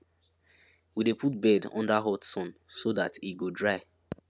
we dey put bed under hot sun so dat e go dry